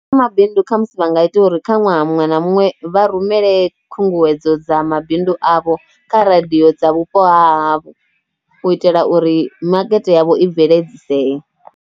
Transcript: Kha mabindu kha musi vha nga ita uri kha ṅwaha muṅwe na muṅwe vha rumele khunguwedzo dza mabindu avho kha radio dza vhupo ha havho u itela uri makete yavho i bveledzisee.